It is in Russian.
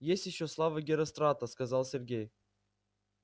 есть ещё слава герострата сказал сергей